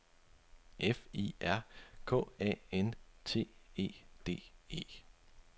F I R K A N T E D E